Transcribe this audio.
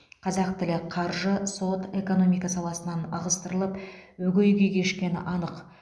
қазақ тілі қаржы сот экономика саласынан ығыстырылып өгей күй кешкені анық